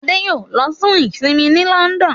Ade yóò ló fún isinmi ní London.